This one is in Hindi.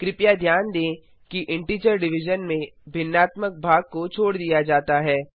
कृपया ध्यान दें कि इंटीजर डिविजन में भिन्नात्मक भाग को छोड़ दिया जाता है